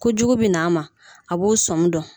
Kojugu bɛ n'a ma a b'o sɔmi dɔn